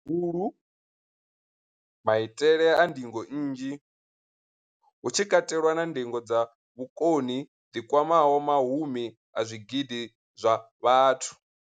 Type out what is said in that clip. Hulu, maitele a ndingo nnzhi, hu tshi katelwa na ndingo dza vhukoni dzi kwamaho mahumi a zwigidi zwa vhathu.